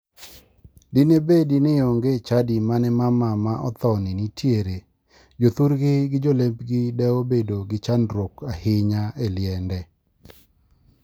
Dine bedi ni onge chadi mane mama ma othoni nitiere, jothurgi gi jolembgi da obedo gi chandruok ahinya e liende.